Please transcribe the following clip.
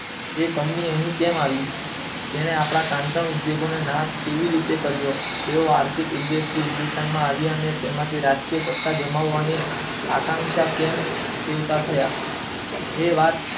જે કંપની અહીં કેમ આવી જેને આપણા કાંટા ઉદ્યોગોને નો નાશ કેવી રીતે કર્યો જેવો આર્થિક રીતે હિંદુસ્તાનમાં આવ્યા અને રાજકીય સત્તા જમાવાની આકાંક્ષા કેમ સેવતા થયા એ વાત